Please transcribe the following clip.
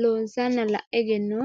loonsanna la'e egennootto?